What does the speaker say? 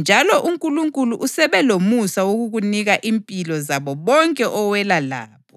njalo uNkulunkulu usebe lomusa wokukunika impilo zabo bonke owela labo.’